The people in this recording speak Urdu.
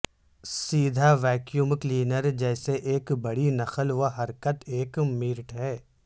سیدھا ویکیوم کلینر جیسے ایک بڑی نقل و حرکت ایک میرٹ ہے